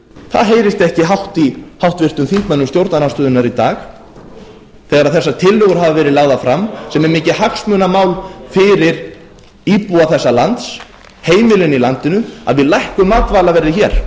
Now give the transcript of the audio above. það heyrist ekki hátt í háttvirtum þingmönnum stjórnarandstöðunnar í dag þegar þessar tillögur hafa verið lagðar fram sem er mikið hagsmunamál fyrir íbúa þessa lands heimilin í landinu að við lækkum matvælaverðið hér